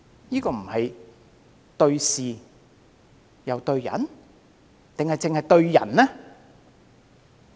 這是"對事又對人"，還是只"對人"？